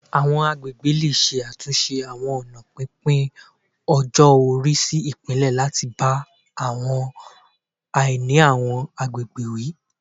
Àwọn agbègbè lè ṣe àtúnṣe àwọn ọ̀nà pínpín-ọjọ-ori sí ipele, láti bá àwọn àìní àwọn àgbègbè wí